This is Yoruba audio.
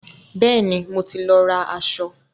Bẹ́ẹ̀ni, mo ti lọ ra aṣọ.